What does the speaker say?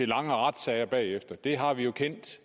lange retssager bagefter det har vi jo kendt